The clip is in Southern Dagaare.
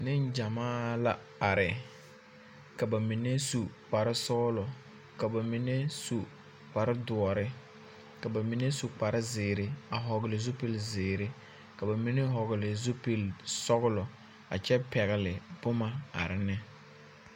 Neŋgyamaa la are, ka ba mine su kpare zeere, ka ba mine su kpare dõͻre, ka ba mine su kpare zeere a vͻgele zupili zeere, ka ba mine vͻgele sͻgelͻ a kyԑ pԑgele boma are ne.